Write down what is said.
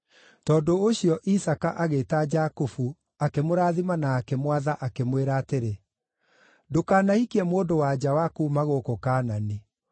Tondũ ũcio, Isaaka agĩĩta Jakubu akĩmũrathima na akĩmwatha, akĩmwĩra atĩrĩ, “Ndũkanahikie mũndũ-wa-nja wa kuuma gũkũ Kaanani.